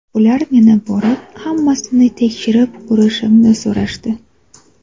Ular meni borib, hammasini tekshirib ko‘rishimni so‘rashdi.